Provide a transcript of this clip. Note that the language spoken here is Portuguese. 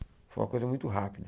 Foi uma coisa muito rápida.